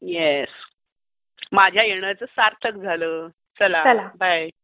Yes, माझ्या येण्याचं सार्थक झालं. चला बाय.